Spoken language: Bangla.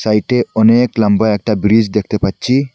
এতে অনেক লম্বা একটা ব্রিস দেখতে পাচ্ছি।